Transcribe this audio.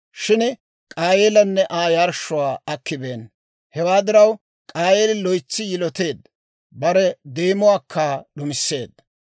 shin K'aayeelanne Aa yarshshuwaa akibeenna. Hewaa diraw, K'aayeeli loytsi yiloteedda; bare deemuwaakka d'umisseedda.